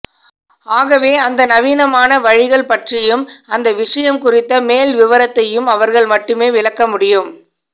ஆகவே அந்த நவீனமான வழிகள் பற்றியும் அந்த விஷயம் குறித்த மேல் விவரத்தையும் அவர்கள் மட்டுமே விளக்க முடியும்